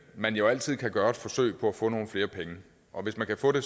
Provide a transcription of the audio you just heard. man jo altid kan gøre et forsøg på at få nogle flere penge og hvis man kan få det